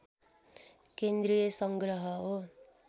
केन्द्रीय सङ्ग्रह हो